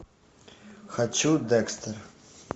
хочу декстер